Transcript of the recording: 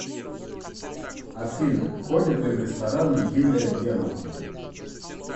афина ходит ли в рестораны юлия германовна